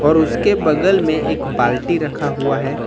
और उसके बगल में एक बाल्टी रखा हुआ है।